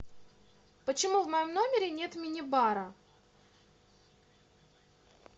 почему в моем номере нет мини бара